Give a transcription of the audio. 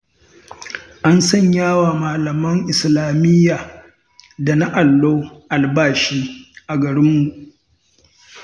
An sanyawa malaman islamiyya da na allo albashi a garinmu.